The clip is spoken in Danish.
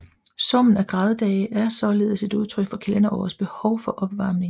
Summen af graddage er således et udtryk for kalenderårets behov for opvarmning